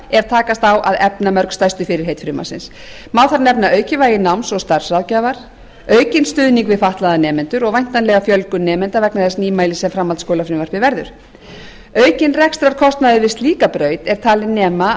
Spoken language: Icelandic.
ef takast á að efna mörg stærstu fyrirheit frumvarpsins má þar nefna aukið vægi náms og starfsráðgjafa aukinn stuðning við fatlaða nemendur og væntanlega fjölgun nemenda vegna þess nýmælis sem framhaldsskólafrumvarpið verður aukinn rekstrarkostnaður við slíka braut er talinn nema